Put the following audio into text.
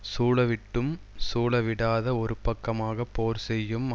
சூழவிட்டும் சூழவிடாதே ஒருபக்கமாகப் போர் செய்யும்